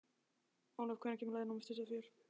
Olav, hvenær kemur leið númer tuttugu og fjögur?